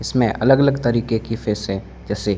इसमें अलग अलग तरीके की फिश है जैसे--